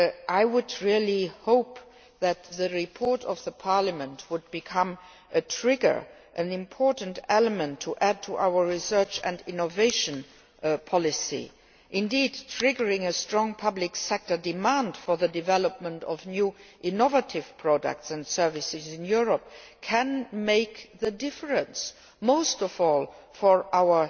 I really hope that Parliament's report will become a trigger and an important element to add to our research and innovation policy. Indeed, triggering a strong public sector demand for the development of new innovative products and services in Europe can make a difference, especially for our